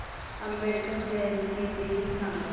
आंबेडकर जयंती दिन सांग